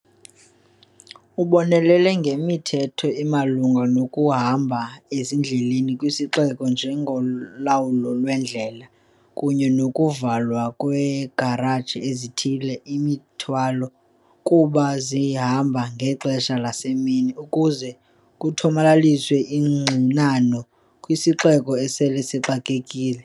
Ubonelele ngemithetho emalunga nokuhamba ezindleleni kwisiXeko, njengolawulo lwendlela kunye nokuvalwa kweekhareji ezithwele imithwalo ukuba zingahambi ngexesha lasemini ukuze kuthomalaliswe ingxinano kwisixeko esele sixakekile.